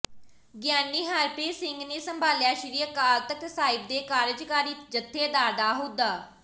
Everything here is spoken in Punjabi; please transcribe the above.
ਗਿਆਨੀ ਹਰਪ੍ਰੀਤ ਸਿੰਘ ਨੇ ਸੰਭਾਲਿਆ ਸ੍ਰੀ ਅਕਾਲ ਤਖ਼ਤ ਸਾਹਿਬ ਦੇ ਕਾਰਜਕਾਰੀ ਜਥੇਦਾਰ ਦਾ ਅਹੁਦਾ